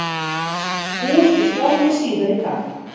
Búist við stormi síðar í dag